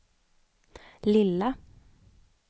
lilla